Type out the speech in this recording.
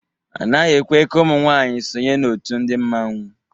A naghị ekwe ka ụmụ nwanyị sonye na òtù ndị mmanwu.